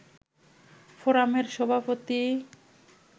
ফোরামের সভাপতি